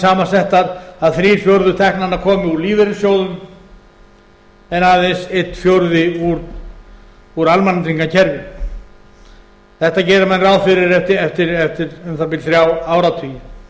samansettar að þrír fjórðu teknanna komi úr lífeyrissjóðum en aðeins einn fjórði úr almannatryggingakerfinu þetta gera menn ráð fyrir eftir um það bil þrjá áratugi það kann